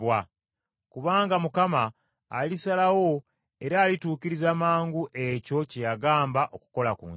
Kubanga Mukama alisalawo era alituukiriza mangu ekyo kye yagamba okukola ku nsi.”